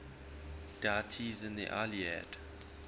deities in the iliad